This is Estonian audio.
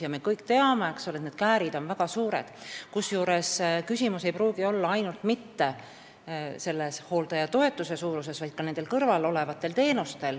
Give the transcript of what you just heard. Ja me kõik teame, et käärid on väga suured, kusjuures küsimus ei pruugi olla ainult hooldajatoetuse suuruses, vaid ka kõrvalolevates teenustes.